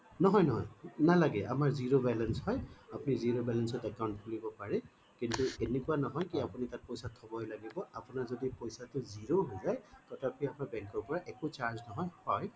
নহয় নহয় নালাগে আমাৰ zero balance হয় আপুনি zero balance ত account খুলিব পাৰে কিন্তু এনেকুৱা নহয় কি আপুনি তাত পইছা থবই লাগিব আপোনাৰ যদি পইছা টো zero অ হৈ যায় তথাপি আপোনাৰ bank ৰ পৰা একো charge নহয় হয়